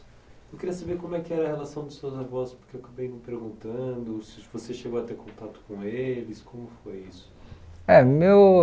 Eu queria saber como é que era a relação dos seus avós, porque eu acabei me perguntando, se você chegou a ter contato com eles, como foi isso? Eh meu